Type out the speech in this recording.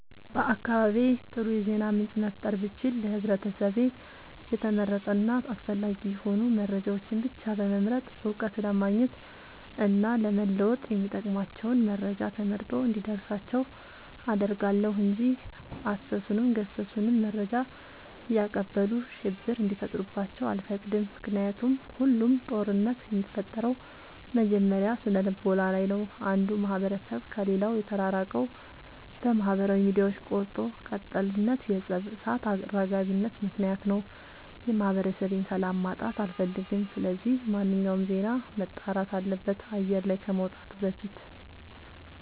በአካባቢዬ አጥሩ የዜና ምንጭ መፍጠር ብችል ለህብረተሰቤ የተመረጡ እና አስፈላጊ የሆኑ መረጃዎችን ብቻ በመምረጥ እውቀት ለማግኘት እና ለመወጥ የሚጠቅሟቸውን መረጃ ተመርጦ እንዲደርሳቸው አደርጋለሁ። እንጂ አሰሱንም ገሰሱንም መረጃ እያቀበሉ ሽብር እንዲፈጥሩባቸው አልፈቅድም ምክንያቱም ሁሉም ጦርነት የሚፈጠረው መጀመሪያ ስነልቦና ላይ ነው። አንዱ ማህበረሰብ ከሌላው የተራራቀው በማህበራዊ ሚዲያዎች ቆርጦ ቀጥልነት የፀብ እሳት አራጋቢነት ምክንያት ነው። የማህበረሰቤን ሰላም ማጣት አልፈልግም ስለዚህ ማንኛውም ዜና መጣራት አለበት አየር ላይ ከመውጣቱ በፊት።